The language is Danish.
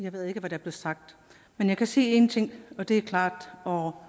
jeg ved ikke hvad der blev sagt men jeg kan sige én ting og det er klart og